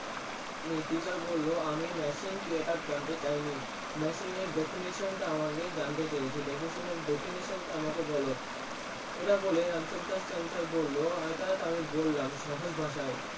Teacher বললো আমি Machine কি ইটা জানতে চাইনি Machine এর Definition টা আমাকে জানতে চেয়েছিলো Definition তা আমাকে বললো ইটা বলে রানছর দাস ছাঁচের বললো এটাই তো আমি বললাম সহজ ভাষায়